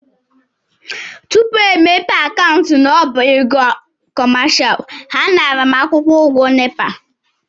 Tupu e mepee m akaụntụ n'ọbá ego kọmashal, ha nara m akwụkwọ ụgwọ NEPA.